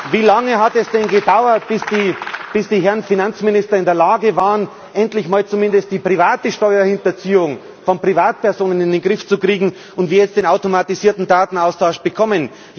Wie lange hat es denn gedauert, bis die Herren Finanzminister in der Lage waren, endlich mal zumindest die Steuerhinterziehung von Privatpersonen in den Griff zu bekommen, und wir jetzt den automatisierten Datenaustausch bekommen?